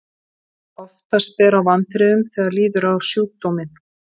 oftast ber á vanþrifum þegar líður á sjúkdóminn